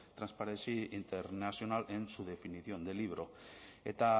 transparency international en su definición de libro eta